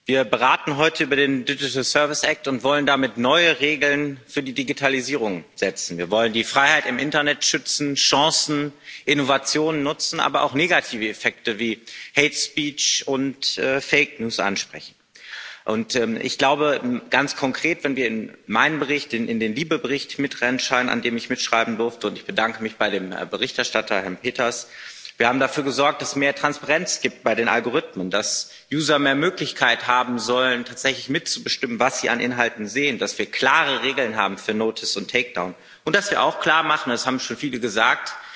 Wir beraten heute über den und wollen damit neue Regeln für die Digitalisierung setzen. Wir wollen die Freiheit im Internet schützen, Chancen, Innovationen nutzen, aber auch negative Effekte wie und ansprechen. Ich glaube ganz konkret, wenn wir in meinen Bericht, in den LIBE Bericht, mit reinschauen, an dem ich mitschreiben durfte ich bedanke mich auch bei dem Berichterstatter, Herrn Peeters haben wir dafür gesorgt, dass es mehr Transparenz gibt bei den Algorithmen, dass user mehr Möglichkeiten haben sollen, tatsächlich mitzubestimmen, was sie an Inhalten sehen, dass wir klare Regeln haben für notice und takedown und dass wir auch klarmachen das haben schon viele gesagt